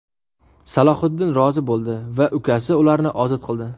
Salohiddin rozi bo‘ldi va ukasi ularni ozod qildi.